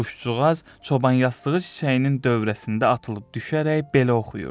Quşcuğaz çoban yastığı çiçəyinin dövrəsində atılıb düşərək belə oxuyurdu: